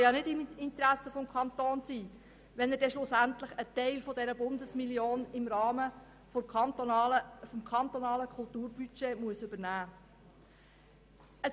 Es kann ja nicht im Interesse des Kantons sein, wenn er schlussendlich einen Teil dieser Bundesmillion im Rahmen des kantonalen Kulturbudgets übernehmen muss.